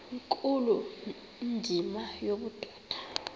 nkulu indima yobudoda